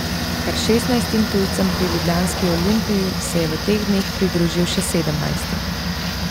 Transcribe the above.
Kar šestnajstim tujcem pri ljubljanski Olimpiji se je v teh dneh pridružil še sedemnajsti.